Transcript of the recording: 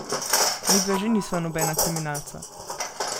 Midva že nisva nobena kriminalca.